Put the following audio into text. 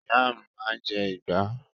Ìyá mi máa ń jẹ ìgbá.